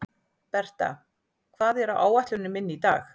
Berta, hvað er á áætluninni minni í dag?